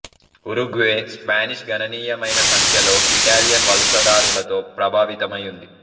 Uruguay Spanish గణనీయమైన సంఖ్యలో Italian వలసదారులతో ప్రభావితమై ఉంది